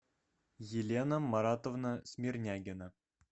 елена маратовна смирнягина